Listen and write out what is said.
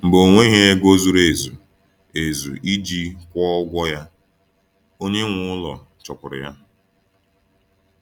Mgbe ọ nweghị ego zuru ezu ezu iji kwụọ ụgwọ ya, onye nwe ụlọ chụpụụrụ ya.